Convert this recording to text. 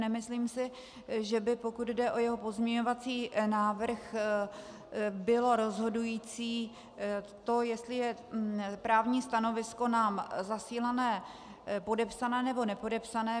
Nemyslím si, že by, pokud jde o jeho pozměňovací návrh, bylo rozhodující to, jestli je právní stanovisko nám zasílané podepsané, nebo nepodepsané.